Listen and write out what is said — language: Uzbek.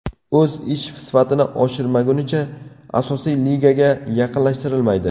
O‘z ish sifatini oshirmagunicha, asosiy ligaga yaqinlashtirilmaydi.